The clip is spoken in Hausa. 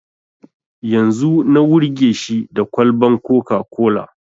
Yanzu na wurge shi da kwalban coca-cola